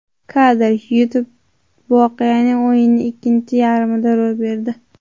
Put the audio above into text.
Kadr: YouTube Voqea o‘yinning ikkinchi taymida ro‘y berdi.